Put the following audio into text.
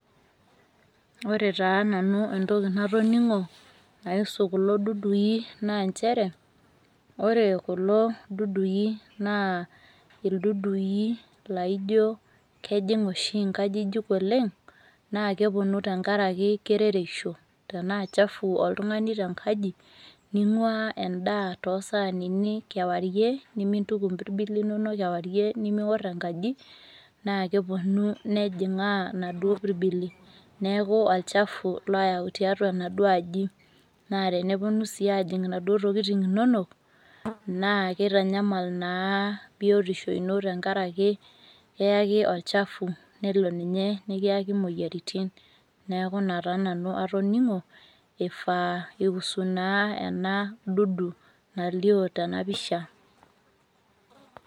Ore taa nanu entoki natoning'o naaisu kulo dudui naanchere ore kulo dudui naa ildudui laaijo kejing' oshi inkajijik oleng' naakepuonu tengarake kerereisho. Tenaa  chafu oltung'ani tenkaji, ning'uaa endaa toosaanini , kewarie nimintuku mbirbili inono kewarie nimiworr enkaji naakepuonu nejing'aa naduo birbili. Neaku olchafu loyau tatua naduo aji. Naa tenepuonu sii ajing' naduo tokitin inonok naa keitanyamal naa biotisho ino tengarake keaki olchafu nelo ninye nikiaki muoyaritin. Neaku ina taa nanu atoning'o eifaa eihusu naa ena dudu nalio tena pisha.